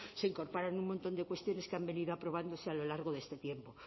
se incorporan un montón de cuestiones que han venido aprobándose a lo largo de este tiempo